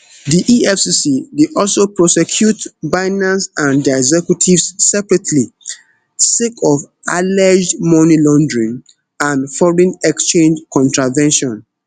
di efcc dey also prosecute binance and dia executives separately sake of alleged money laundering and foreign exchange contravention